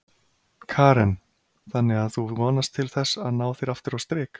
Karen: Þannig að þú vonast til þess að ná þér aftur á strik?